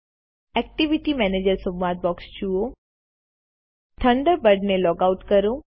activity manager સંવાદ box જુઓ Thunderbird ને લૉગઆઉટ કરો